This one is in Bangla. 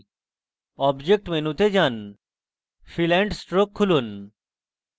object মেনুতে যান fill and stroke খুলুন